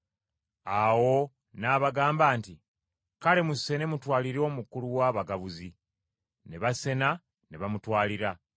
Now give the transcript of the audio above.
Awo n’abagamba nti, “Kale musene mutwalire omukulu w’abagabuzi.” Ne basena ne bamutwalira.